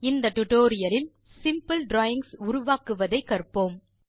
இந்த டியூட்டோரியல் லில் simple drawings உருவாக்குவதை கற்போம்